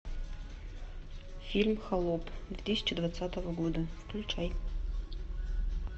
фильм холоп две тысячи двадцатого года включай